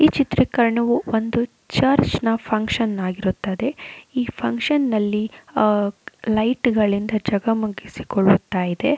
ಈ ಚಿತ್ರೀಕರಣವು ಒಂದು ಚರ್ಚ್ ನ ಫಕ್ಷನ್ ಆಗಿರುತ್ತದೆ. ಈ ಫಕ್ಷನ್ ನಲ್ಲಿ ಅಹ್ ಲೈಟ್ ಗಳಿಂದ ಜಗಮಗಿಸಿಕೊಳುತ್ತಾ ಇದೆ.